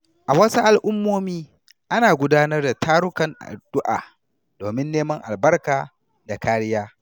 A wasu al’ummomi, ana gudanar da tarukan addu’a domin neman albarka da kariya.